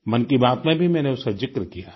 मन की बात में भी मैंने उसका जिक्र किया है